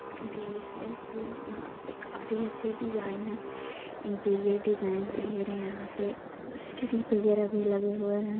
Delicious food यहाँ पे काफी अच्छे डिज़ाइन है इंटीरियर डिज़ाइन ले रहे हैं यहाँ पे सीढ़ी वैगरह भी लगे हुए हैं।